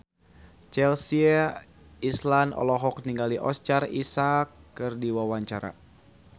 Chelsea Islan olohok ningali Oscar Isaac keur diwawancara